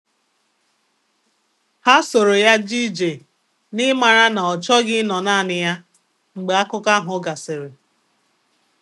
Anyị kụrụ osisi ọhụrụ abụo n'azụ ụlọ dị ka akụkụ nke ihe omume izu ụka anyị.